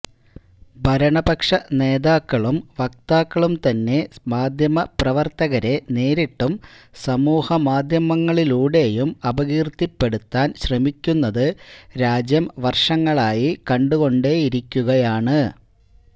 ഭരണപക്ഷനേതാക്കളും വക്താക്കളും തന്നെ മാധ്യമപ്രവര്ത്തകരെ നേരിട്ടും സമൂഹമാധ്യമങ്ങളിലൂടെയും അപകീര്ത്തിപ്പെടുത്താന് ശ്രമിക്കുന്നത് രാജ്യം വര്ഷങ്ങളായി കണ്ടുകൊണ്ടേയിരിക്കുകയാണ്